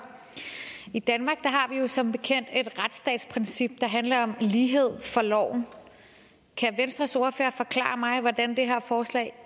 i danmark har vi jo som bekendt et retsstatsprincip der handler om lighed for loven kan venstres ordfører forklare mig hvordan det her forslag